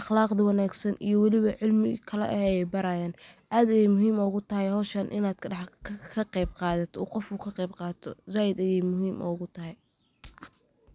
Akhlaqda wanaagsan iyo waliba cilmiga kale ayey barayaan. Aad ayey muhiim ugu tahay hawshaan inaad ka qeyb qaadato oo uu qofka ka qeyb qaato.